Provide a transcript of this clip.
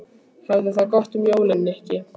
Hafðu það gott um jólin, Nikki